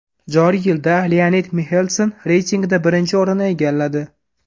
Joriy yilda Leonid Mixelson reytingda birinchi o‘rinni egalladi.